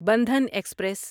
Bandhan express